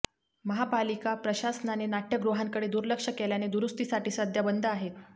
महापालिका प्रशासनाने नाट्यगृहांकडे दुर्लक्ष केल्याने दुरुस्तीसाठी सध्या बंद आहेत